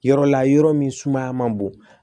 Yɔrɔ la yɔrɔ min sumaya man bon